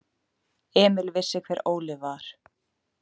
Emil vissi hver Óli var.